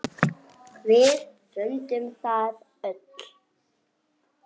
Hún finnur það.